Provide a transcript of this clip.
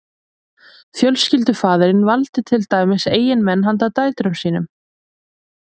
fjölskyldufaðirinn valdi til dæmis eiginmenn handa dætrum sínum